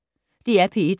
DR P1